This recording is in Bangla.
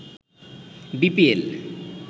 বিপিএল